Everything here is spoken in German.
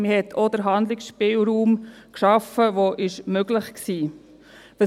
Man hat auch den Handlungsspielraum geschaffen, der möglich war.